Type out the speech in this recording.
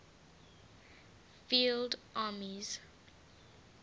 field armies